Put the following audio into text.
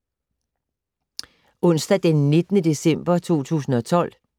Onsdag d. 19. december 2012